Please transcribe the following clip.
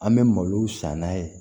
An bɛ malow san n'a ye